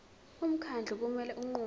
umkhandlu kumele unqume